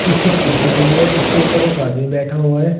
पीछे कुर्सी लगी है जिसके ऊपर एक आदमी बैठा हुआ है।